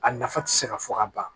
A nafa tɛ se ka fɔ ka ban